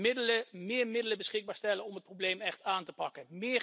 Middelen, meer middelen beschikbaar stellen om het probleem echt aan te pakken.